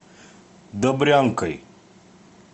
добрянкой